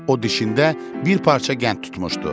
O dişində bir parça qənd tutmuşdu.